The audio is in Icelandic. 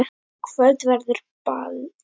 Í kvöld verður ball.